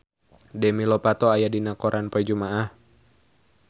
Demi Lovato aya dina koran poe Jumaah